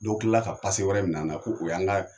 Dɔw kilala ka wɛrɛ minɛ an na ko o y'an